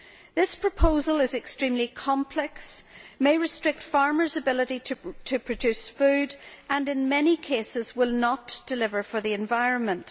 This proposal is extremely complex, may restrict farmers' ability to produce food, and in many cases will not deliver for the environment.